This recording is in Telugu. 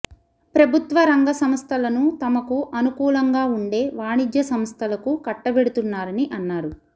ప్రభుత్వ రంగ సంస్థలను తమకు అనుకూలంగా ఉండే వాణిజ్య సంస్థలకు కట్టబెడుతున్నారని అన్నారు